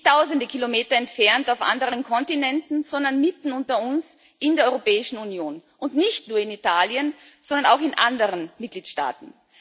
Nicht tausende Kilometer entfernt auf anderen Kontinenten, sondern mitten unter uns in der Europäischen Union und nicht nur in Italien, sondern auch in anderen Mitgliedstaaten.